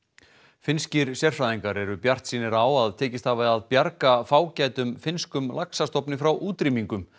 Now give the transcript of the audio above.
finnskir sérfræðingar eru bjartsýnir á að tekist hafi að bjarga fágætum finnskum laxastofni frá útrýmingu